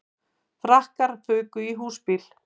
Frakkar fuku í húsbíl